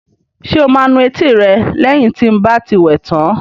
Ṣé o máa nu etí rẹ lẹ́yìn tí n bá ti wẹ tán?